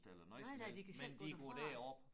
Nej nej de kan selv gå derfra